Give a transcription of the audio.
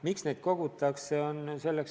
Miks neid kogutakse?